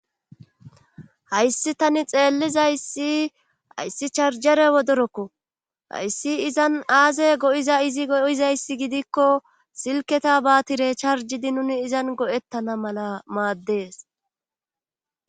hayssi tani xeellizayssi hayssi charjare wodorokko hayssi izan aazey go'iza izi go'izayssi gidikko silketa baatire charjidi nuni izan go'ettana mala maaddees